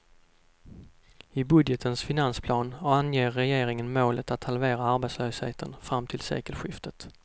I budgetens finansplan anger regeringen målet att halvera arbetslösheten fram till sekelskiftet.